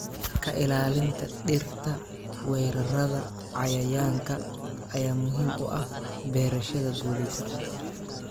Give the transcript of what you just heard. Ka ilaalinta dhirta weerarrada cayayaanka ayaa muhiim u ah beerashada guulaysata.